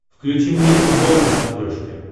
включи мне футбол на смотрешке